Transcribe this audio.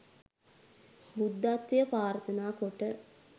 බුද්ධත්වය ප්‍රාර්ථනා කොට